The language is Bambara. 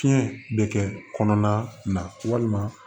Fiɲɛ bɛ kɛ kɔnɔna na walima